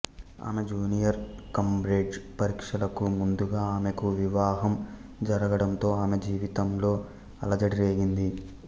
ఆమె junior Cambridge పరీక్షలకు ముందుగా ఆమెకు వివాహం జరగడంతో ఆమె జీవితంలో అలజడి రేగింది